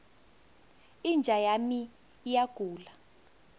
inja yami iyagula